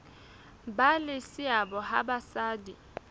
ba le seabo ha basadi